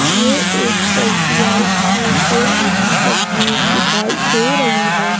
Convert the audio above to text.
ये एक एस_बी_आई के केंद्र की तस्वीर दिखाई दे रही है।